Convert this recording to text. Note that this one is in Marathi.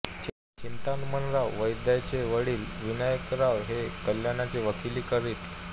चिंतामणराव वैद्यांचे वडील विनायकराव हे कल्याणला वकिली करीत